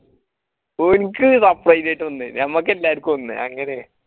ഓനിക്ക് separate യിട്ട് ഒന്ന് നമ്മാക്കല്ലാർക്കും ഒന്ന് അങ്ങനെയാ